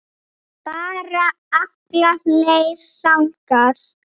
Bara alla leið þangað!